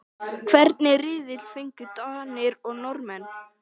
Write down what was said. Hvernig riðil fengu Danir og Norðmenn?